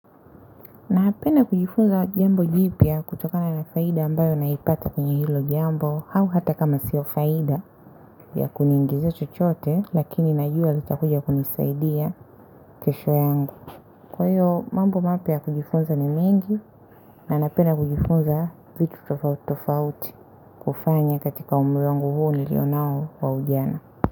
Napenda kujifunza jambo jipya kutokana na faida ambayo naipata kwenye hilo jambo au hata kama siyo faida ya kuniongezea chochote lakini najua lita kuja kunisaidia kesho yangu, kwa hiyo mambo mapya kujifunza ni mengi na napenda kujifunza vitu tofauti tofauti kufanya katika umri wangu huo niliyo nao wa ujana.